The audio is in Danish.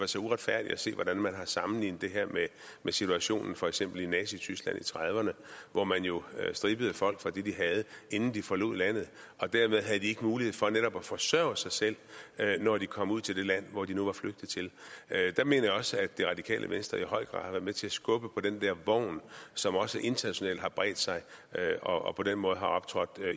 så uretfærdigt at se hvordan man har sammenlignet det her med situationen i for eksempel nazityskland i nitten trediverne hvor man jo strippede folk for det de havde inden de forlod landet og dermed havde de ikke mulighed for netop at forsørge sig selv når de kom ud til det land hvor de nu var flygtet til der mener jeg også at det radikale venstre i høj grad har været med til at skubbe på den der vogn som også internationalt har bredt sig og på den måde har optrådt